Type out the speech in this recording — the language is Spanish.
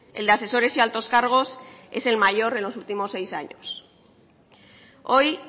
el de asesores y altos cargos es el mayor en los últimos seis años hoy